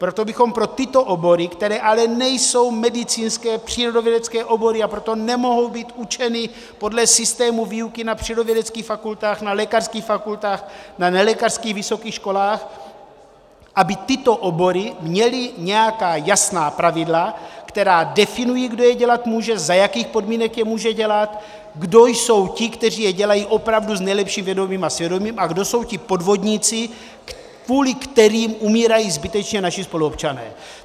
Proto bychom pro tyto obory, které ale nejsou medicínské, přírodovědecké obory, a proto nemohou být učeny podle systému výuky na přírodovědeckých fakultách, na lékařských fakultách, na nelékařských vysokých školách, aby tyto obory měly nějaká jasná pravidla, která definují, kdo je dělat může, za jakých podmínek je může dělat, kdo jsou ti, kteří je dělají opravdu s nejlepším vědomím a svědomím, a kdo jsou ti podvodníci, kvůli kterým umírají zbytečně naši spoluobčané.